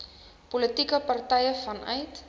politieke partye vanuit